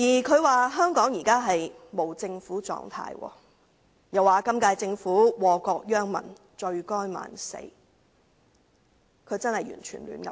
他說香港現時處於無政府狀態，又說本屆政府禍國殃民，罪該萬死，他真的完全胡說八道。